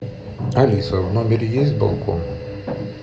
алиса в номере есть балкон